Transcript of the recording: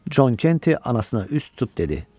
Con Kenti anasına üz tutub dedi: